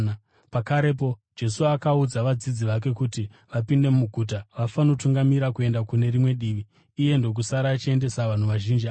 Pakarepo Jesu akaudza vadzidzi vake kuti vapinde mugwa vafanotungamira kuenda kune rimwe divi, iye ndokusara achiendesa vanhu vazhinji ava.